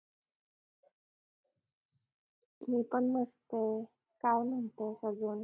मी पण मस्तये काय म्हणतेस अजून